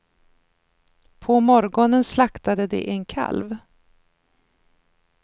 På morgonen slaktade de en kalv.